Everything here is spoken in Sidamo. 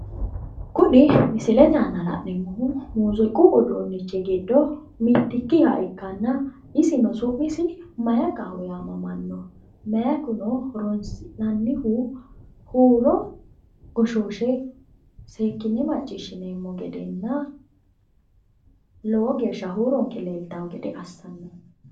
Kuni misilete aana la'neemohu muuziiqu Uduunich giddo mittikiha ikkanna isino su'misi maikaho yamamano maikuno horonsi'nanihu Huuro goshooshe seekine maciishineemo gedena Lowo geeshsha huuronke liltawo gede assanno.